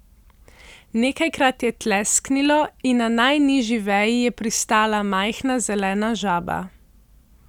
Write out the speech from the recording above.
Nekajkrat je tlesknilo in na najnižji veji je pristala majhna zelena žaba.